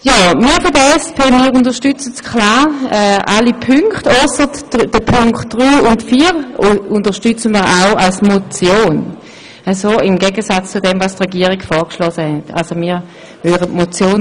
Die SP-JUSO-PSA-Fraktion unterstützt klar alle Punkte des Vorstosses als Motion, also auch die Punkte drei und vier.